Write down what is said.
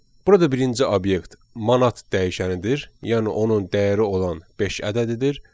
Burada birinci obyekt manat dəyişənidir, yəni onun dəyəri olan beş ədədidir.